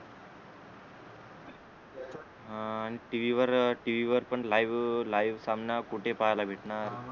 हा आणि टीव्ही वर टीव्ही वर पण लाईव्ह लाईव्ह सामना कुठे पाहिला भेटणार